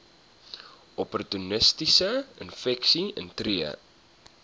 opportunistiese infeksies intree